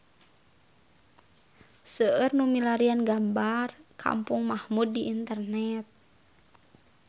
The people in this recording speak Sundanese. Seueur nu milarian gambar Kampung Mahmud di internet